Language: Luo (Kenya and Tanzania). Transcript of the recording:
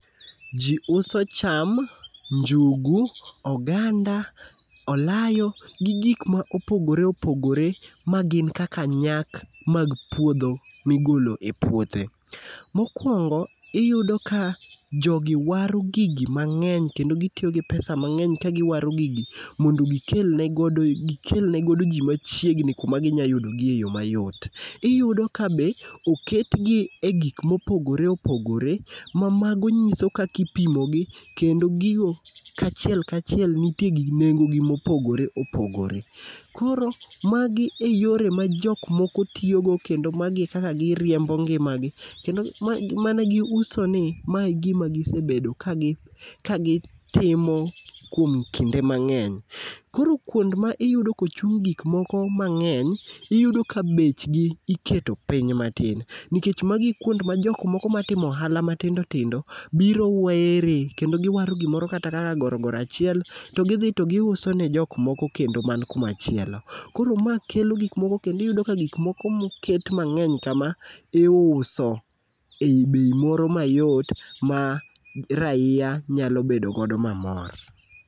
Ji uso cham njugu, oganda olayo, gi ngik ma opogore opogore magin kaka nyak mag puodho migolo e puothe. Mokuongo iyudo kan jo gi waro gigi mang'eny kendo gitiyo gi pesa mng'eny kagiwaro gigi mondo gikel negodo ji machiegni kuma ginyalo udogiye e yo mayot. Iyudo ka be oketgi e gik mopogore opogore mamago nyiso kaka ipimogi kendo gigo kachiel kachiel nitie gigi nengo gi mopogore opogore koro magi eyore majok moko tiyogo kendo ma gichak giriembo ngimagi kendo mana gi usoni. Ma e gima gisebedo ka gitimo kuom kinde mang'eny. Koro kuond ma iyudo ka ochung gik moko mangeny, iyudo ka bechgi iketo piny matin nikech magin kuond ma jok moko matimo ohala mitindo tindo biro were kendo giwaro gimoro kata ka gorogoro achiel to gidhi to giuso ne jok moko kendo man kuma chielo. Koro ma kelo gik moko kendo iyudo ka gik moko moket mang'eny kama iuso ei bei moro mayot ma raia nyalo bedo godo